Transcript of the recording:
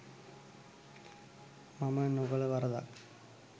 මම නොකළ වරදක්